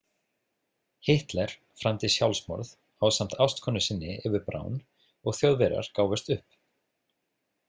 Hitler framdi sjálfsmorð ásamt ástkonu sinni Evu Braun og Þjóðverjar gáfust upp.